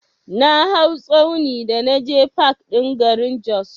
Na hau tsauni da naje fak ɗin garin Jos.